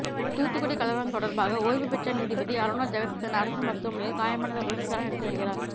தூத்துக்குடி கலவரம் தொடர்பாக ஓய்வு பெற்ற நீதிபதி அருணா ஜெகதீசன் அரசு மருத்துவமனையில் காயமடைந்தவர்களிடம் விசாரணை நடத்தி வருகிறார்